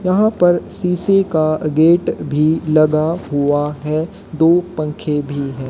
यहां पर शीशे के गेट भी लगा हुआ है दो पंखे भी हैं।